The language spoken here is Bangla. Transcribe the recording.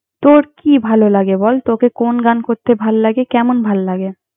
তোর কি ভালো লাগে বল? তোকে কোন্ গান করতে ভাল্লাগে? কেমন ভাল্লাগে?